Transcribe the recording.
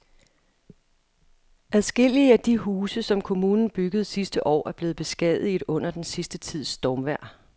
Adskillige af de huse, som kommunen byggede sidste år, er blevet beskadiget under den sidste tids stormvejr.